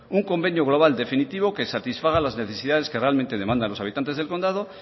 un convenio global definitivo que satisfaga las necesidades que realmente demandan los habitantes del condado